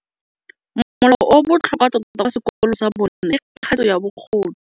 Molao o o botlhokwa tota kwa sekolong sa bone ke kganetsô ya bogodu.